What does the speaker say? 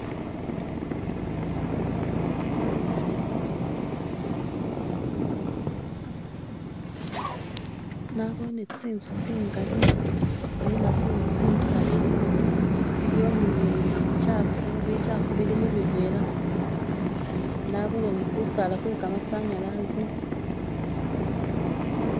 nabone tsinzu tsingali nenga tsinzu tsihale tsiliwo nibi kyafu bikyafu bili mubivera nabone nikusaala kwekamasanyalaze